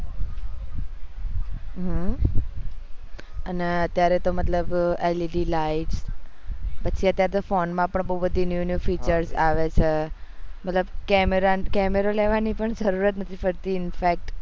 હમ અને અત્યારે તો મતલબ LED light પછી અત્યારે ફોન માં બી બહુ બધી new new future આવે છે મતલબ camera camera લેવાની જરૂર જ નથી પડતી infact